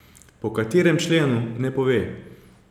Po katerem členu, ne pove.